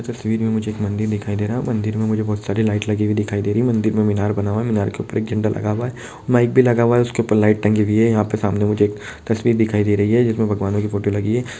तस्वीर में मुझे एक मंदिर दिखाई दे रहा है मंदिर में मुझे बोहत सारी लाइट लगी हुई दिखाई दे रही है मंदिर में मीनार बना हुआ है मीनार के ऊपर झंडा लगा हुआ है माइक भी लगा हुआ है उसके ऊपर लाइट टंगी हुई हैयहाँ पे सामने मुझे एक तस्वीर दिखाई दे रही है जिसमे भगवान की फोटो लगी हुई है ।